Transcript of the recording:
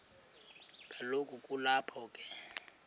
kaloku kulapho be